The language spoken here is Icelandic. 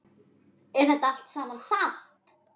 Er þetta allt saman satt?